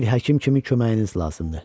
Bir həkim kimi köməyiniz lazımdır.